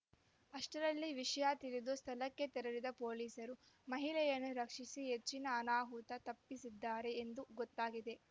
ಅಷ್ಟರಲ್ಲಿ ವಿಷಯ ತಿಳಿದು ಸ್ಥಳಕ್ಕೆ ತೆರಳಿದ ಪೊಲೀಸರು ಮಹಿಳೆಯನ್ನು ರಕ್ಷಿಸಿ ಹೆಚ್ಚಿನ ಅನಾಹುತ ತಪ್ಪಿಸಿದ್ದಾರೆ ಎಂದು ಗೊತ್ತಾಗಿದೆ